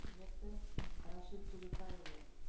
құрметті рашид төлеутайұлы